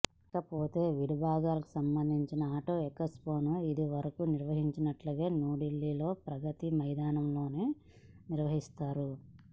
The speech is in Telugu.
ఇకపోతే విడిభాగాలకు సంబంధించిన ఆటో ఎక్స్పోను ఇదివరకు నిర్వహించినట్లుగా న్యూఢిల్లీలోని ప్రగతి మైదాన్లో నిర్వహిస్తారు